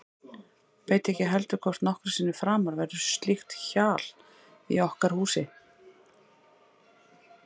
Veit heldur ekki hvort nokkru sinni framar verður slíkt hjal í okkar húsi.